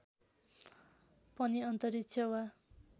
पनि अन्तरिक्ष वा